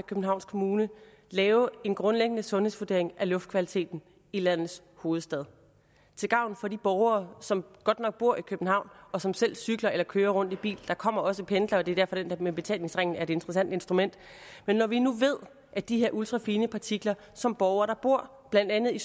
københavns kommune lave en grundlæggende sundhedsvurdering af luftkvaliteten i landets hovedstad til gavn for de borgere som godt nok bor i københavn og som selv cykler eller kører rundt i bil der kommer også pendlere og det er derfor at det der med betalingsringen er et interessant instrument men når vi nu ved at de her ultrafine partikler som borgere der bor blandt andet i